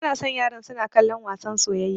Bana son yaran suna kallon wasan soyayya.